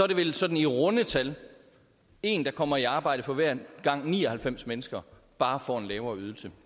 det vel sådan i runde tal en der kommer i arbejde for hver gang ni og halvfems mennesker bare får en lavere ydelse